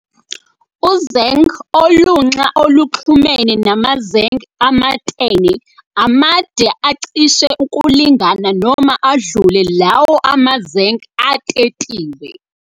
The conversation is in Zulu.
Uzeng' olunxa oluxhumene namazeng' amatene, amade acish' ukulingana noma adlule law' amazeng' atetiwe.